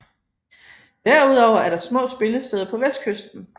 Derudover er der små spillesteder på vestkysten